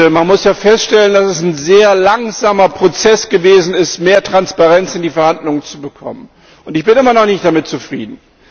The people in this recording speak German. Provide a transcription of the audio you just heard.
Man muss ja feststellen, dass es ein sehr langsamer Prozess gewesen ist, mehr Transparenz in die Verhandlungen zu bekommen, und ich bin immer noch nicht damit zufrieden.